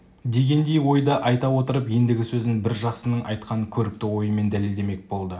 дегендей ойды айта отырып ендігі сөзін бір жақсының айтқан көрікті ойымен дәлелдемек болды